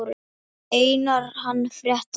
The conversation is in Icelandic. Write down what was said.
Einar hann frétta.